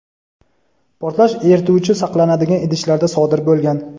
portlash erituvchi saqlanadigan idishlarda sodir bo‘lgan.